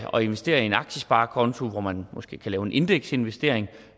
at investere i en aktiesparekonto hvor man måske kan lave en indeksinvestering